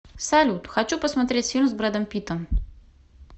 салют хочу посмотреть фильм с брэдом питтом